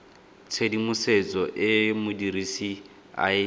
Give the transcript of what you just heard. tshedimosetso e modirisi a e